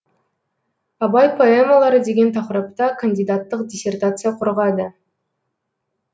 абай поэмалары деген тақырыпта кандидаттық диссертация қорғады